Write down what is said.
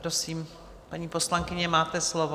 Prosím, paní poslankyně, máte slovo.